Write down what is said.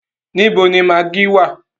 Níbo ni magí wà?